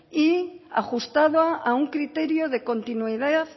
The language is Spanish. y ajustada a un criterio de continuidad